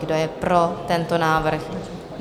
Kdo je pro tento návrh?